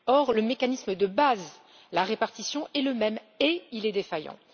Or, le mécanisme de base la répartition est le même, et il est défaillant.